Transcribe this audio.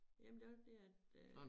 Jamen det også det at øh